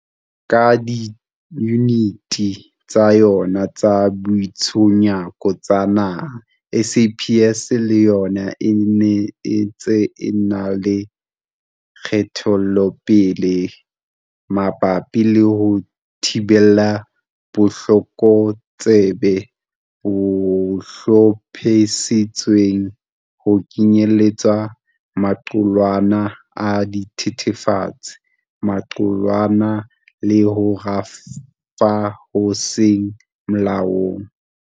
Ka diyuniti tsa yona tsa boitshunyako tsa naha, SAPS le yona e ne e ntse e na le kgatelopele mabapi le ho thibela botlokotsebe bo hlophisitsweng, ho kenyeletswa maqulwana a dithethefatsi, maqulwana le ho rafa ho seng molaong.